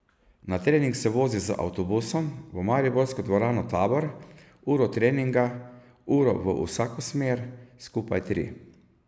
Na trening se vozi z avtobusom v mariborsko dvorano Tabor, uro treninga, uro v vsako smer, skupaj tri.